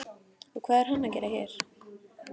Og hvað er hann að gera hér?